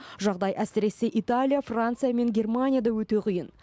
жағдай әсіресе италия франция мен германияда өте қиын